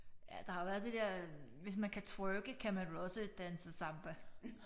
Ja der har været det der hvis man kan twerke kan man vel også danse samba